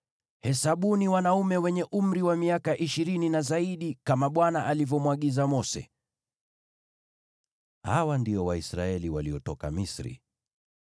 “Hesabuni wanaume wenye umri wa miaka ishirini na zaidi, kama Bwana alivyomwagiza Mose.” Hawa ndio Waisraeli waliotoka Misri: